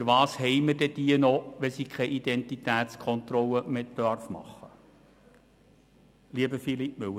Wofür haben wir sie dann noch, wenn sie keine Identitätskontrollen mehr machen dürfen, lieber Philippe Müller?